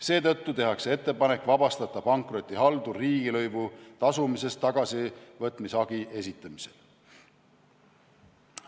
Seetõttu tehakse ettepanek vabastada pankrotihaldur riigilõivu tasumisest tagasivõtmise hagi esitamisel.